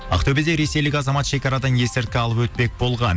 ақтөбеде ресейлік азамат шекарадан есірткі алып өтпек болған